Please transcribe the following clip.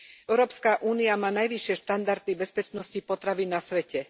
EÚ má najvyššie štandardy bezpečnosti potravy na svete.